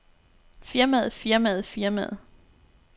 firmaet firmaet firmaet